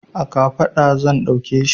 A kafaɗa zan ɗauke shi.